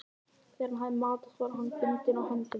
Þegar hann hafði matast var hann bundinn á höndunum.